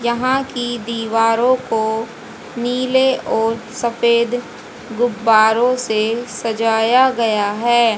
यहां की दीवारों को नीले और सफेद गुब्बारों से सजाया गया है।